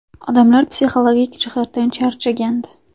Odamlar psixologik jihatdan charchagandi.